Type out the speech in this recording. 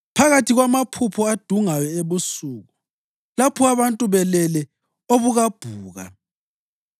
Phakathi kwamaphupho adungayo ebusuku, lapho abantu belele obukabhuka,